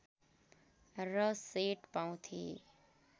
र सेट पाउँथे